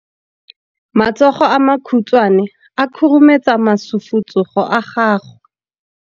Matsogo a makhutshwane a khurumetsa masufutsogo a gago.